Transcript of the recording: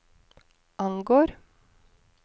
angår